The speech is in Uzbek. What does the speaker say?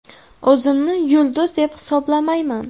O‘zimni yulduz deb hisoblamayman.